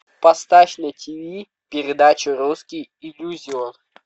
поставь на тиви передачу русский иллюзион